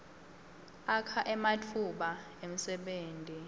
akha ematfuba emsebenti